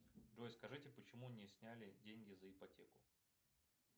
джой скажите почему не сняли деньги за ипотеку